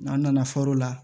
N'an nana fɔɔr'o la